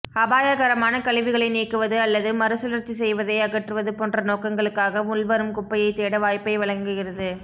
அபாயகரமான கழிவுகளை நீக்குவது அல்லது மறுசுழற்சி செய்வதை அகற்றுவது போன்ற நோக்கங்களுக்காக உள்வரும் குப்பையைத் தேட வாய்ப்பை வழங்குகிறது